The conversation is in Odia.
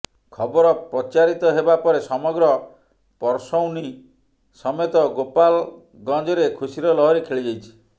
ଖବର ପ୍ରଚାରିତ ହେବା ପରେ ସମଗ୍ର ପରସୌନୀ ସମେତ ଗୋପାଲ ଗଞ୍ଜରେ ଖୁସୀର ଲହରି ଖେଳିଯାଇଛି